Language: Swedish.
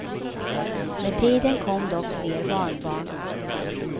Med tiden kom dock fler barnbarn.